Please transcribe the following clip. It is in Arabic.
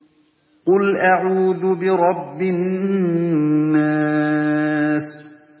قُلْ أَعُوذُ بِرَبِّ النَّاسِ